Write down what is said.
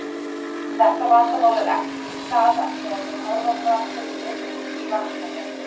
Þetta vandamál er ekki til staðar þegar þeir horfa fram fyrir sig í vatninu.